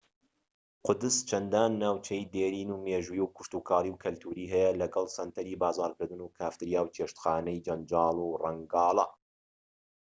قودس چەندان ناوچەی دێرین و مێژوویی و کشتوکاڵی و کەلتوری هەیە لەگەڵ سەنتەری بازارکردن و کافتریا و چێشتخانەی جەنجاڵ و ڕەنگاڵە